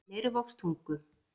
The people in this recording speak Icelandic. Leirvogstungu